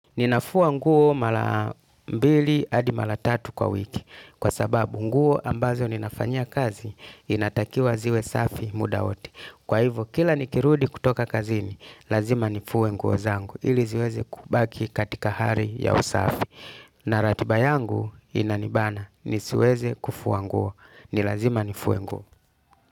Ninafua nguo mala mbili hadi mala tatu kwa wiki. Kwa sababu nguo ambazo ninafanyia kazi inatakiwa ziwe safi muda wote. Kwa hivyo kila nikirudi kutoka kazini lazima nifuwe nguo zangu ili ziweze kubaki katika hari ya usafi. Na ratiba yangu inanibana. Nisiweze kufuwa nguo. Ni lazima nifuwe nguo.